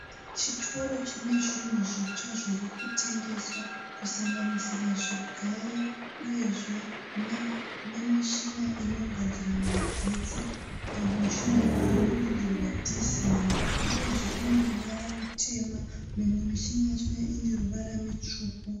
Chitoro chine zvinhu zvitsva zviri kutengeswa kusanganisira zvigayo uyezve nemishina inodagadziramagetsi. Mushina uyu unodirwa dhiziri uyezve uneruvara rutema, imwe mishina yachona ine ruvara rutsvuku.